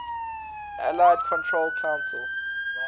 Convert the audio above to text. allied control council